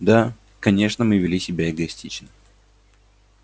да конечно мы вели себя эгоистично